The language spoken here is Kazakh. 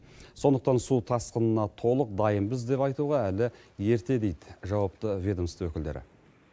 сондықтан су тасқынына толық дайынбыз деп айтуға әлі ерте дейді жауапты ведомство өкілдері